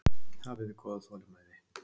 Hafiði góða þolinmæði?